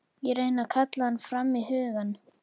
Ég reyni að kalla hann fram í hugann.